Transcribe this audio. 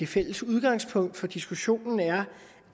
fælles udgangspunkt for diskussionen er